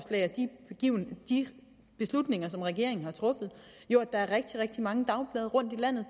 de beslutninger som regeringen har truffet jo at der er rigtig rigtig mange dagblade rundtom i landet